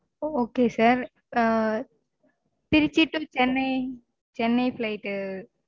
ஒ okay sir Trichy to Chennai. Chennai flight